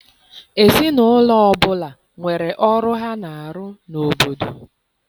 Ezinaụlọ ọbụla nwere ọrụ ha na-arụ n'obodo.